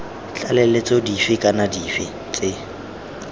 tlaleletso dife kana dife tse